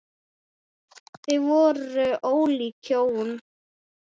Þau voru svo ólík hjónin.